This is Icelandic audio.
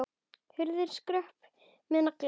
Hurðin skröpuð með nagla.